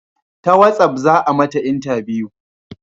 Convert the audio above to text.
Ta watsaf za a mata intabiyu